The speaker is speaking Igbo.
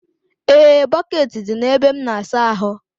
Ee, bọkeeti dị na ebe m n'asa ahụ.